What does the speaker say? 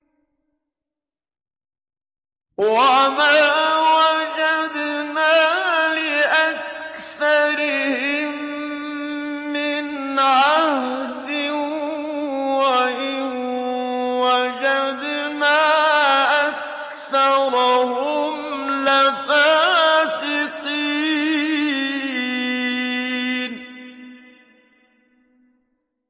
وَمَا وَجَدْنَا لِأَكْثَرِهِم مِّنْ عَهْدٍ ۖ وَإِن وَجَدْنَا أَكْثَرَهُمْ لَفَاسِقِينَ